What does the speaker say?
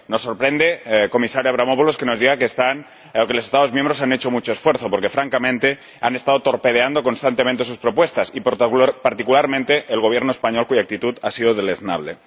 Nos sorprende, comisario Avramopoulos, que nos diga que los Estados miembros han hecho mucho esfuerzo, porque, francamente, han estado torpedeando constantemente sus propuestas y particularmente el Gobierno español, cuya actitud ha sido deleznable.